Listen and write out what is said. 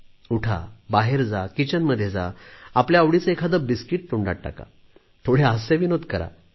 उठा बाहेर जा किचनमध्ये जा आपल्या आवडीचे एखादे बिस्किट तोंडात टाका थोडे हास्यविनोद करा